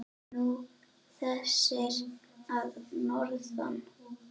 Nú, þessir að norðan.